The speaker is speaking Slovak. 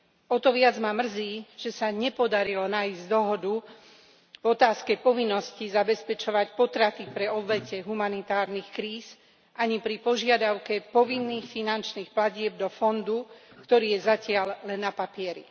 O to viac ma mrzí, že sa nepodarilo nájsť dohodu v otázke povinnosti zabezpečovať potraty pre obete humanitárnych kríz ani pri požiadavke povinných finančných platieb do fondu, ktorý je zatiaľ len na papieri.